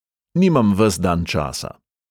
"Nimam ves dan časa."